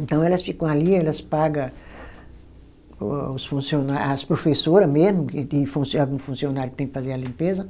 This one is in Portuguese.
Então elas ficam ali, elas paga o os funciona, as professora mesmo, que que algum funcionário que tem que fazer a limpeza,